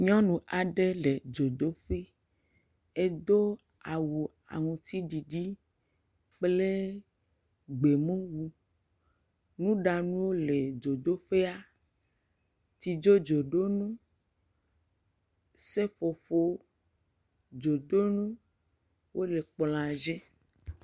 Nyɔnu aɖe le dzodoƒe, edo awu aŋutididi kple gbemumu. Nuɖanuwo le dzodoƒea, tsidzodzoɖo nu, seƒoƒo dzodonuwo le kplɔa dzi.